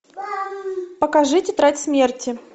покажи тетрадь смерти